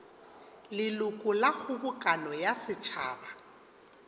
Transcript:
leloko la kgobokano ya setšhaba